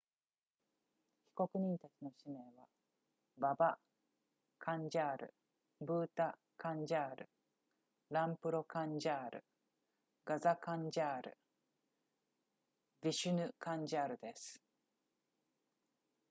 被告人たちの氏名はババカンジャールブータカンジャールランプロカンジャールガザカンジャールヴィシュヌカンジャールです